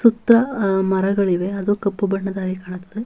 ಸುತ್ತ ಆಹ್ಹ್ ಮರಗಳಿವೆ ಅದು ಕಪ್ಪು ಬಣ್ಣದಾಗಿ ಕಾಣುತ್ತದೆ.